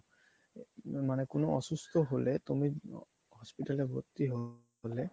মানে কোনো অসুস্থ হলে তুমি hospital এ ভর্তি হলে